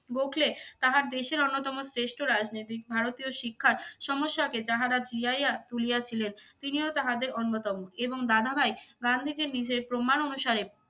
গোখলে তাহার দেশের অন্যতম শ্রেষ্ঠ রাজনীতিক। ভারতীয় শিক্ষার সমস্যাকে যাহারা জিয়াইয়া তুলিয়াছিলেন তিনিও তাহাদের অন্যতম এবং দাদাভাই গান্ধীজীর নিজের প্রমাণ অনুসারে